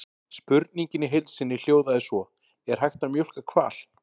Spurningin í heild sinni hljóðaði svo: Er hægt að mjólka hval?